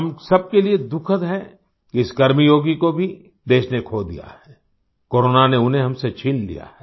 हम सबके लिए दुखद है कि इस कर्मयोगी को भी देश ने खो दिया है कोरोना ने उन्हें हमसे छीन लिया है